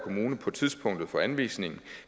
kommune på tidspunktet for anvisningen